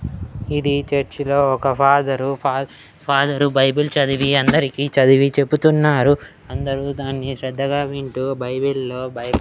ఇది చర్చిలో ఒక ఫాదరు ఫా ఫాదరు బైబిల్ చదివి అందరికి చదివి చెపుతున్నారు అందరూ దాన్ని శ్రద్ధగా వింటూ బైబిల్లో బై--